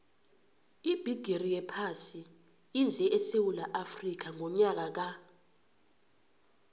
ibhigiri yephasi ize esewula afrika ngonyaka ka